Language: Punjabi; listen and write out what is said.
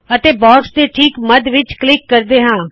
ਅਤੇ ਬਾਕਸ ਦੇ ਠੀਕ ਮੱਧ ਵਿੱਚ ਕਲਿੱਕ ਕਰਦੇ ਹਾ